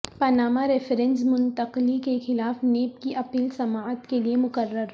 Panama references منتقلی کے خلاف نیب کی اپیل سماعت کیلئے مقرر